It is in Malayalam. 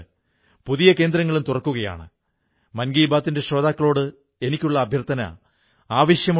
ഈ സെക്ഷനിൽ നാം ദിവസേന ഒരു വാക്യം വിഭിന്ന ഭാഷകളിൽ എങ്ങനെ സംസാരിക്കുന്നു എന്ന് പഠിക്കാനാകും